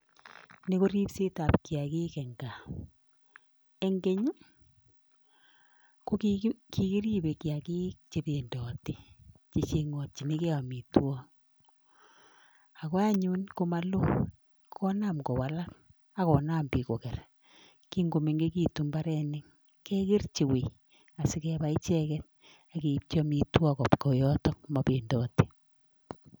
Ni korolibset ab keyaik en gaa en keny kokikiribe keyaik chebendate akochengin gei amitwagik akoanyin komalo konam kowalak akonam bik kokerak kingomengegitun imabaronok kekerchi woi sikobwa icheket sigeibchi amitwagik Koba yoton simabendot